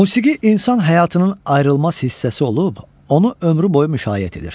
Musiqi insan həyatının ayrılmaz hissəsi olub, onu ömrü boyu müşayiət edir.